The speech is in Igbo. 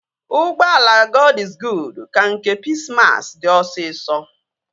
Ụgbọala Gọd iz Guud ka nke Pis mas dị osisọ